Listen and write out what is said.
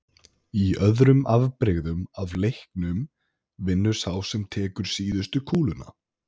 Í öðrum afbrigðum af leiknum vinnur sá sem tekur síðustu kúluna.